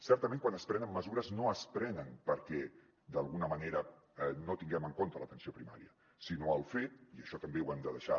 certament quan es prenen mesures no es prenen perquè d’alguna manera no tinguem en compte l’atenció primària sinó pel fet i això també ho hem de deixar